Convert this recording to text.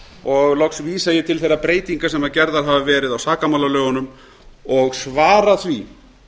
og loks vísa ég til þeirra breytinga sem gerðar hafa verið á sakamálalögunum og svara því